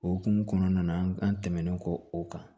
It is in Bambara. O hukumu kɔnɔna na an tɛmɛnen kɔ o kan